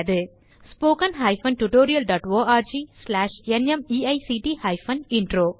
மேலும் விவரங்களுக்கு 1 மூலப்பாடம் டேலன்ட்ஸ்பிரின்ட்